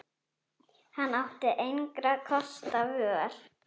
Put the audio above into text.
Hann átti engra kosta völ.